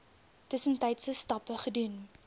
tussentydse stappe gedoen